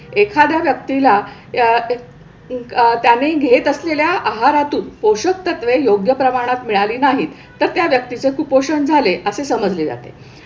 एखाद्या व्यक्तीला अह त्याने घेत असलेल्या आहारातून पोषक तत्वे योग्य प्रमाणात मिळाली नाहीत तर त्या व्यक्तीचे कुपोषण झाले असे समजले जाते.